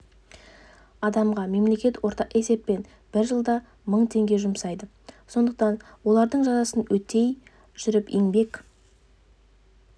адамға мемлекет орта есеппен бір жылда мың теңге жұмсайды сондықтан олардың жазасын өтей жүріп еңбек